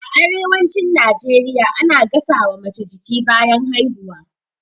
A arewacin najeriya ana gasa wa mace jiki bayan haihuwa